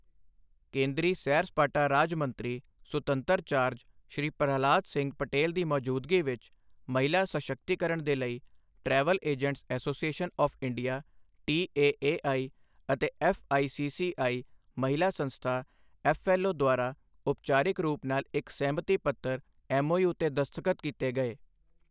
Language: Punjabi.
ਕੇਂਦਰੀ ਸੈਰ ਸਪਾਟਾ ਰਾਜ ਮੰਤਰੀ ਸੁਤੰਤਰ ਚਾਰਜ ਸ਼੍ਰੀ ਪ੍ਰਹਲਾਦ ਸਿੰਘ ਪਟੇਲ ਦੀ ਮੌਜੂਦਗੀ ਵਿੱਚ, ਮਹਿਲਾ ਸਸ਼ਕਤੀਕਰਣ ਦੇ ਲਈ travel agents association of India TAAI ਅਤੇ ਐੱਫ਼ਆਈਸੀਸੀਆਈ ਮਹਿਲਾ ਸੰਸਥਾ ਐੱਫ਼ਐੱਲਓ ਦੁਆਰਾ ਉਪਚਾਰਿਕ ਰੂਪ ਨਾਲ ਇੱਕ ਸਹਿਮਤੀ ਪੱਤਰ ਐੱਮਓਯੂ ਤੇ ਦਸਤਖਤ ਕੀਤੇ ਗਏ।